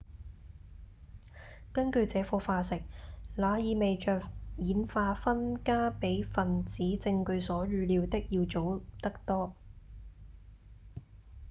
「根據這顆化石那意味著演化分家比分子證據所預料的要早得多